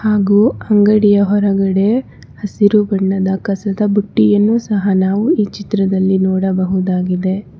ಹಾಗೂ ಅಂಗಡಿಯ ಹೊರಗಡೆ ಹಸಿರು ಬಣ್ಣದ ಕಸದ ಬುಟ್ಟಿಯನ್ನು ಸಹ ನಾವು ಈ ಚಿತ್ರದಲ್ಲಿ ನೋಡಬಹುದಾಗಿದೆ.